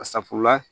A safunɛ la